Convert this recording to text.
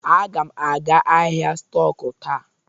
Aga m aga ahịa stọk taa.